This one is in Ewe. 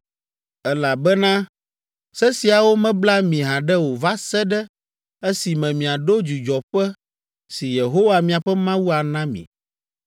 elabena se siawo mebla mi haɖe o va se ɖe esime miaɖo dzudzɔƒe si Yehowa miaƒe Mawu ana mi.